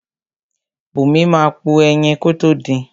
Bùnmi máa po ẹyin kótó din.